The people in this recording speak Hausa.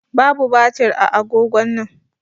Babu batir a agogon nan.